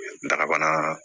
Darabana